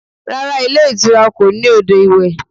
Rárá, ilé ìtura kò ní odò iwẹ̀